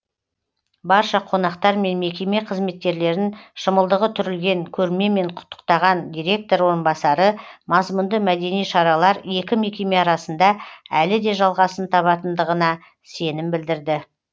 барша қонақтар мен мекеме қызметкерлерін шымылдығы түрілген көрмемен құттықтаған директор орынбасары мазмұнды мәдени шаралар екі мекеме арасында әлі де жалғасын табатындығына сенім білдірді